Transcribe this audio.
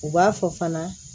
U b'a fɔ fana